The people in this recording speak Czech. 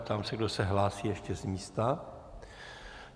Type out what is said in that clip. Ptám se, kdo se hlásí ještě z místa.